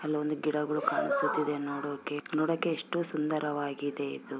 ಅಲ್ಲಿ ಒಂದು ಗಿಡಗಳು ಕಾಣಿಸುತ್ತಿದೆ ನೋಡೋಕೆ ನೋಡೋಕೆ ಎಷ್ಟು ಸುಂದರವಾಗಿದೆ ಇದು.